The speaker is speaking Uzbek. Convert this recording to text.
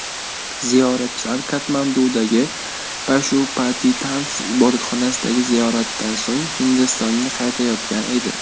Ziyoratchilar Katmandudagi Pashupatitantx ibodatxonasidagi ziyoratdan so‘ng Hindistonga qaytayotgan edi.